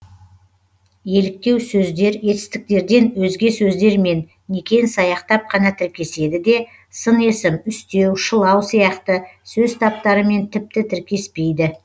еліктеу сөздер етістіктерден өзге сөздермен некен саяқтап қана тіркеседі де сын есім үстеу шылау сияқты сөз таптарымен тіпті тіркеспейді